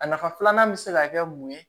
A nafa filanan bɛ se ka kɛ mun ye